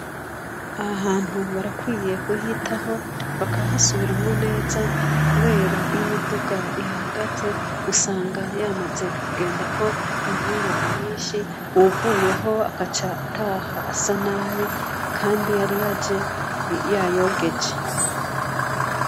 Aha hantu barakwiye kuhitaho bakahasubiramwo neza ,kubera iyo imiduga ihahagaze usanga yamaze kugenda ko inkungugu nyinshi, uwuvuyeho agaca ataha asa nabi, kandi yari yaje yayogeje.